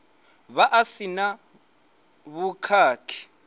vha a si na vhukhakhi